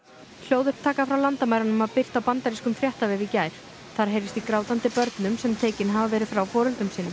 hljóðupptaka frá landamærunum var birt á bandarískum fréttavef í gær þar heyrist í grátandi börnum sem tekin hafa verið frá foreldrum sínum